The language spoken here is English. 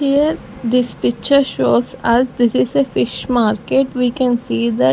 Here this picture shows us this is a fish market we can see that--